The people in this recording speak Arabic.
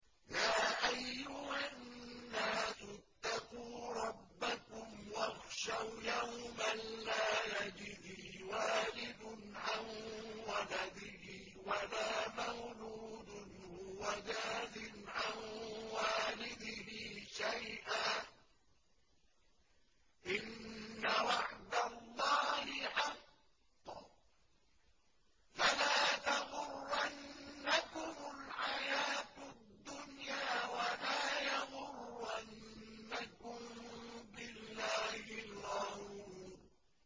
يَا أَيُّهَا النَّاسُ اتَّقُوا رَبَّكُمْ وَاخْشَوْا يَوْمًا لَّا يَجْزِي وَالِدٌ عَن وَلَدِهِ وَلَا مَوْلُودٌ هُوَ جَازٍ عَن وَالِدِهِ شَيْئًا ۚ إِنَّ وَعْدَ اللَّهِ حَقٌّ ۖ فَلَا تَغُرَّنَّكُمُ الْحَيَاةُ الدُّنْيَا وَلَا يَغُرَّنَّكُم بِاللَّهِ الْغَرُورُ